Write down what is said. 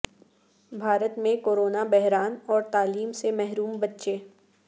بھارت میں کورونا بحران اور تعلیم سے محروم بچے